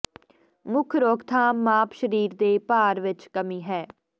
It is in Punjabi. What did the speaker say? ਮੁੱਖ ਰੋਕਥਾਮ ਮਾਪ ਸਰੀਰ ਦੇ ਭਾਰ ਵਿਚ ਕਮੀ ਹੈ